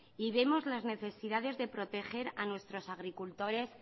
y vemos las necesidades de proteger a nuestros agricultores